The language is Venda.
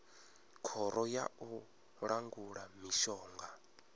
khoro ya u langula mishonga